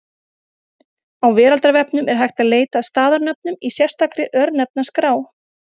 Á Veraldarvefnum er hægt að leita að staðarnöfnum í sérstakri Örnefnaskrá.